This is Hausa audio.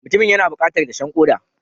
Mutumin yana bukatar dashen koda.